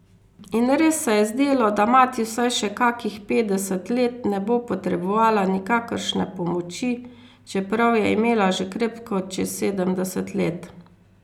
In res se je zdelo, da mati vsaj še kakih petdeset let ne bo potrebovala nikakršne pomoči, čeprav je imela že krepko čez sedemdeset let.